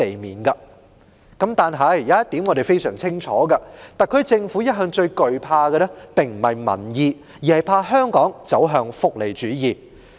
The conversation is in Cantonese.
然而，我們很清楚一點，就是特區政府一直最懼怕的不是民意，而是香港走向福利主義。